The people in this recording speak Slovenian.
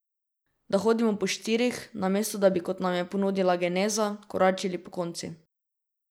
Da hodimo po štirih, namesto da bi, kot nam je ponudila geneza, koračili pokonci.